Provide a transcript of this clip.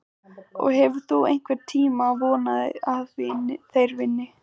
Og hefur þú einhvern tímann vonað að þeir vinni?